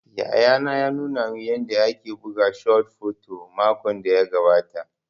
Yayana ya nuna man yanda ake buga shot fut makon da ya gabata